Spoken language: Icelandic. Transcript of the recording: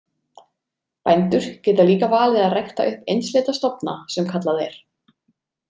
Bændur geta líka valið að rækta upp einsleita stofna sem kallað er.